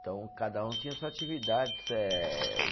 Então, cada um tinha sua atividade, eh